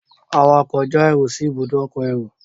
awakọ̀ já èrò sí Ibùdó ọkọ̀ èrò